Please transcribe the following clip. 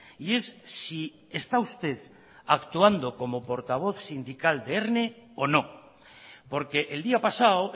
y es si está usted actuando como portavoz sindical de erne o no porque el día pasado